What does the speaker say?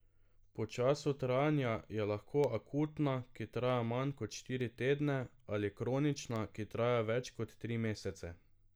Po času trajanja je lahko akutna, ki traja manj kot štiri tedne, ali kronična, ki traja več kot tri mesece.